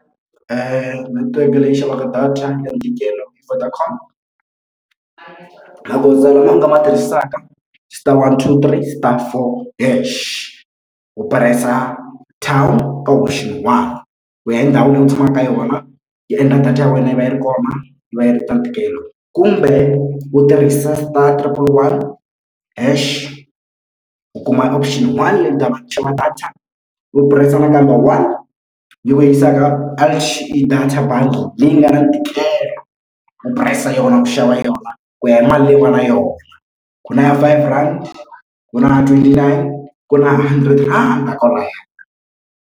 Netiweke leyi xavaka data ya ntikelo i Vodacom magoza lawa u nga ma tirhisaka star one two three star four hash u press-a town ka option one ku ya hi ndhawu leyi u tshamaka ka yona yi endla data ya wena yi va yi ri kona yi va yi ri ta ntikelo kumbe u tirhisa star triple one hash u kuma option one leyi nga na data u press-a nakambe one leyi ku yisaka data bundle leyi nga na ntikelo ku price yona ku xava yona ku ya hi mali leyiwani na yona ku na ya five rand ku na na twenty-nine ku na hundred rhandi kwalaya.